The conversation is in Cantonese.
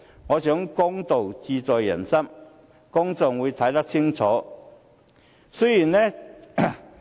我想公道自在人心，公眾會看得清楚。